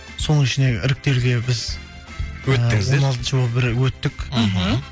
соның ішіне іріктеуде біз өттіңіздер он алтыншы болып өттік мхм